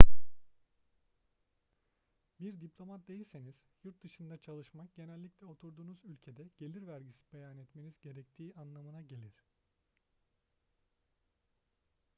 bir diplomat değilseniz yurt dışında çalışmak genellikle oturduğunuz ülkede gelir vergisi beyan etmeniz gerektiği anlamına gelir